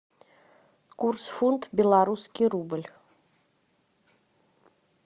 курс фунт белорусский рубль